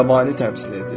Yabanı təmsil edir.